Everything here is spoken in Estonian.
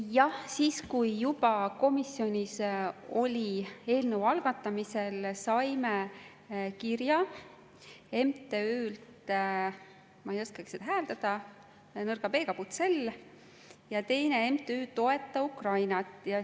Jah, siis, kui komisjonis oli eelnõu juba algatamisel, saime kirja MTÜ-lt – ma ei oskagi seda hääldada, nõrga B-ga – Bucel ja teine oli MTÜ Toeta Ukrainat.